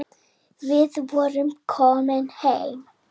Við vorum komin heim.